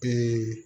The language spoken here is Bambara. Bi